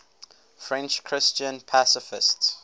french christian pacifists